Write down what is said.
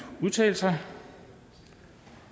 udtale sig